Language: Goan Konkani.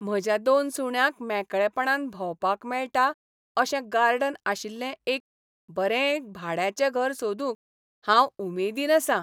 म्हज्या दोन सुण्यांक मेकळेपणान भोंवपाक मेळटा अशें गार्डन आशिल्लें एक बरें भाड्याचें घर सोदूंक हांव उमेदीन आसा.